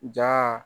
Ja